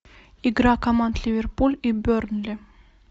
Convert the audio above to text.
игра команд ливерпуль и бернли